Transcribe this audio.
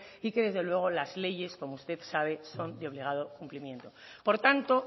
y que desde luego las leyes como usted sabe son de obligado cumplimiento por tanto